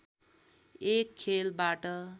एक खेलबाट